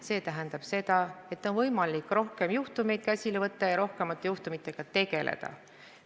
See tähendab seda, et on võimalik rohkem juhtumeid käsile võtta, rohkemate juhtumitega tegeleda.